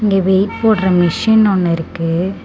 இங்க வெயிட் போடுற மிஷின் ஒன்னு இருக்கு.